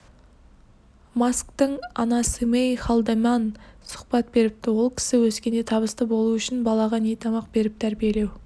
масктың анасымэй халдеман сұхбат беріпті ол кісі өскенде табысты болу үшін балаға не тамақ беріп тәрбиелеу